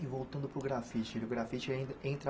e voltando para o grafite, o grafite en entra?